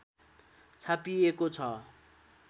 छापिएको छ